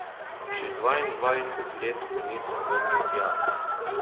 Že dvaindvajset let se nisem vrnil tja.